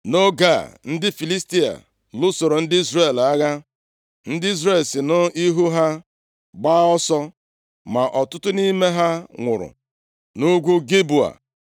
Nʼoge a ndị Filistia lụsoro ndị Izrel agha, ndị Izrel si nʼihu ha gbaa ọsọ, ma ọtụtụ nʼime ha nwụrụ nʼugwu Gilboa.